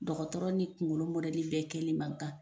Dɔgɔtɔrɔ ni kunkolo mɔdɛli kɛli man kan.